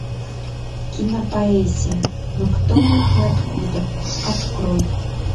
кинопоэзия ну кто мы и откуда открой